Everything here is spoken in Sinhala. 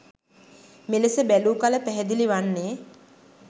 මෙලෙස බැලූ කල පැහැදිලි වන්නේ